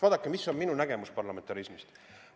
Vaadake, mis on minu nägemus parlamentarismist.